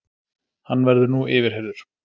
Hann verður nú yfirheyrður